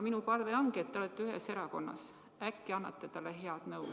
Minu palve ongi, et te olete ühes erakonnas, äkki annate talle head nõu.